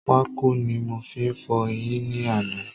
Pákò ni mo fi fọ̀ eyín ní àná